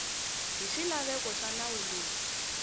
hi swilaveko swa nawu lowu